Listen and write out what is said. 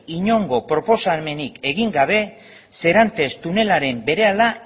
inongo proposamenik egin gabe serantes tunela berehala